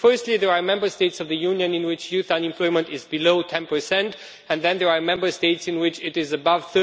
Firstly, there are Member States of the Union in which youth unemployment is below 10 and then there are Member States in which it is above